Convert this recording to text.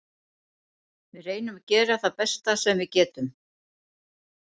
Við reynum að gera það besta sem við getum.